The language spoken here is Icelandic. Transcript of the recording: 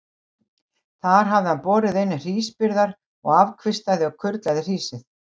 Þar hafði hann borið inn hrísbyrðar og afkvistaði og kurlaði hrísið.